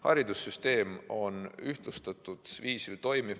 Haridussüsteem toimib ühtlustatud viisil.